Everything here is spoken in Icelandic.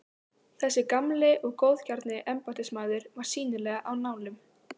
Þessi gamli og góðgjarni embættismaður var sýnilega á nálum.